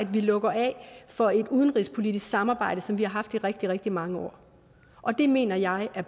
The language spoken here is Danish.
vi lukker af for et udenrigspolitisk samarbejde som vi har haft i rigtig rigtig mange år og det mener jeg er